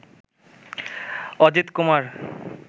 Ajitkumar